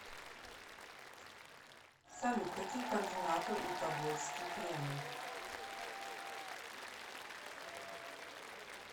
салют какие координаты у тобольский кремль